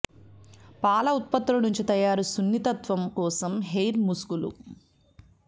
పాల ఉత్పత్తులు నుంచి తయారు సున్నితత్వం కోసం హెయిర్ ముసుగులు